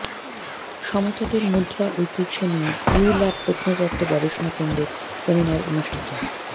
সমতটের মুদ্রা ঐতিহ্য নিয়ে ইউল্যাব প্রত্নতত্ত্ব গবেষণাকেন্দ্রের সেমিনার অনুষ্ঠিত